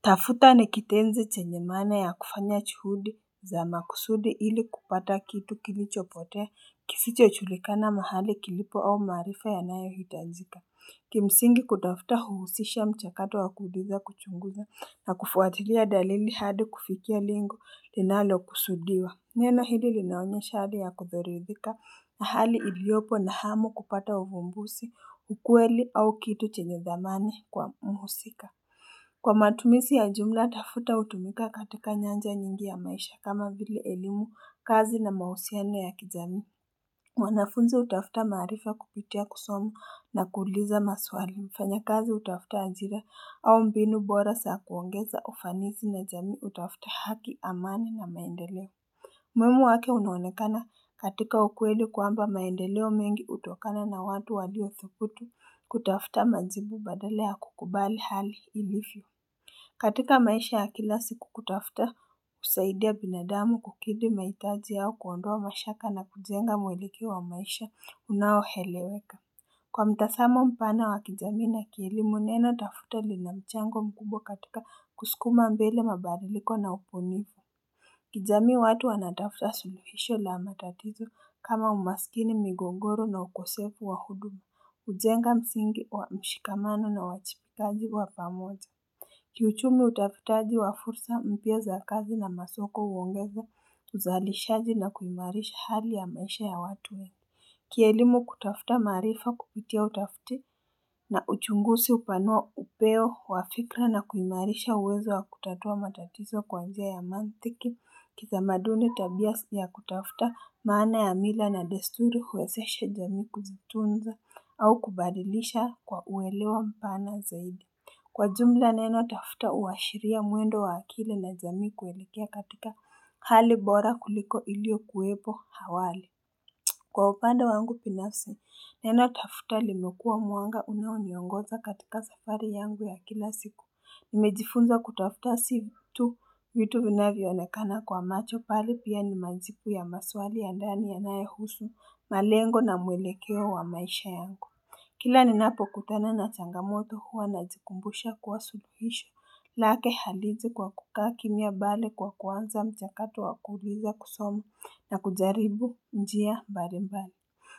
Tafuta ni kitenzi chenye maana ya kufanya chuhudi za makusudi ili kupata kitu kilichopotea kisichochulikana mahali kilipo au maarifa yanayohitajika. Kimsingi kutafuta huhusisha mchakato wa kuuliza kuchunguza na kufwatilia dalili hadi kufikia lengo linalokusudiwa. Neno hlii linaonyesha hali ya kutoridhika na hali iliopo na hamu kupata uvumbusi ukweli au kitu chenye dhamani kwa muhusika. Kwa matumisi ya jumla, tafuta hutumika katika nyanja nyingi ya maisha kama vile elimu, kazi na mahusiano ya kijamii. Wanafunzi hutafuta maarifa kupitia kusoma na kuuliza maswali. Wafanyakazi hutafuta ajira au mbinu bora saa kuongeza ufanisi na jamii hutafuta haki amani na maendeleo. Umuhimu wake unaonekana katika ukweli kwamba maendeleo mengi hutokana na watu walio thubutu kutafuta majibu badala kukubali hali ilivyo. Katika maisha ya kila siku kutafuta kusaidia binadamu kukidhi mahitaji yao kuondoa mashaka na kujenga mwelekeo wa maisha unaoeleweka kwa mtasamo mpana wa kijamii na kielimu neno tafuta lina mchango mkubwa katika kusukuma mbele mabairiliko na ubunifu kijamii watu wanatafuta suluhisho la matatizo kama umasikini migogoro na ukosefu wa udu ujenga msingi wa mshikamano na uwachibikaji wa pamoja Kiuchumi utafutaji wa fursa mpya za kazi na masoko huongeza uzalishaji na kuimarisha hali ya maisha ya watu wengi Kielimu kutafuta maarifa kupitia utafuti na uchungusi hupanoa upeo wa fikra na kuimarisha uwezo wa kutatua matatizo kwa njia ya maanthiki kitamaduni tabia si ya kutafuta maana ya mila na desuri huwezeshe jamii kuzitunza au kubadilisha kwa uelewa mpana zaidi Kwa jumla neno tafuta huashiria mwendo wa akili na jamii kuuelekea katika hali bora kuliko iliokuwepo awali Kwa upande wangu binafsi, neno tafuta limekua mwanga unaoniongoza katika safari yangu ya kila siku Nimejifunza kutafuta si tu vitu vinavyoonekana kwa macho pale pia ni majibu ya maswali ya ndani yanayohusu malengo na mwelekeo wa maisha yangu kila ninapokutana na changamoto huwa najikumbusha kuwa suluhisho lake haliizi kwa kukaa kimia bali kwa kuanza mchakato wa kuuliza kusoma na kujaribu njia mbalimbali